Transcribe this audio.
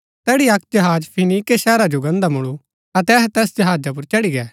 तैड़ी अक्क जहाज फीनीके शहर जो गान्दा मुळु अतै अहै तैस जहाजा पुर चढ़ी गै